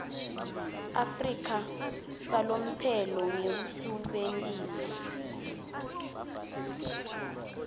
afrika salomphelo ngekusebentisa